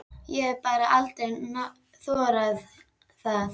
Ég hef bara aldrei þorað það.